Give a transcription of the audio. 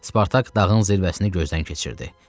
Spartak dağın zirvəsini gözdən keçirdi.